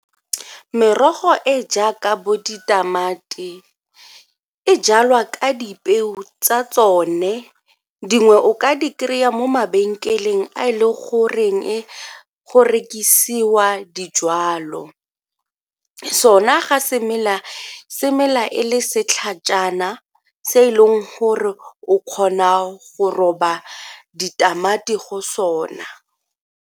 Merogo e e jaaka bo ditamati e jalwa ka dipeo tsa tsone dingwe o ka di kry-a mo mabenkeleng a e le goreng e go rekisiwa dijwalo. Sona ga se mela, se mela e le setlhajana se e leng gore o kgona go roba ditamati go sona.